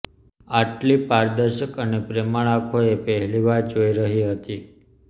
આટલી પારદર્શક અને પ્રેમાળ આંખો એ પહેલીવાર જોઈ રહી હતી